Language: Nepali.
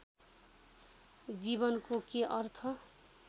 जीवनको के अर्थ